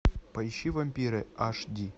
поищи вампиры аш ди